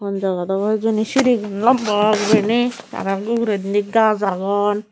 hon jagat abow hijeni sirigun lamba gurine arow ugurendi gaj agon.